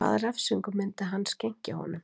Og hvaða refsingu myndi hann skenkja honum